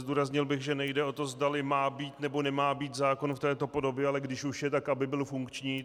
Zdůraznil bych, že nejde o to, zdali má být, nebo nemá být zákon v této podobě, ale když už je, tak aby byl funkční.